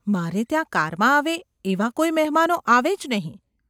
મારે ત્યાં કારમાં આવે એવા કોઈ મહેમાનો આવે જ નહિ.